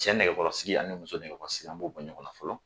Cɛ nɛgɛkɔrɔsigi ani muso nɛgɛkɔrɔsigi an b'o bɔ ɲɔgɔn na fɔlɔ